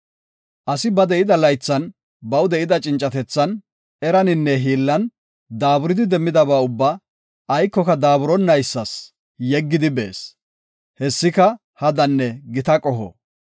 Asi ba de7ida laythan baw de7ida cincatethan, eraninne hiillan daaburidi demmidaba ubbaa aykoka daaburonaysas yeggidi bees. Hessika hadanne gita qoho.